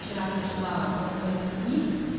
вчера прочла в одной из книг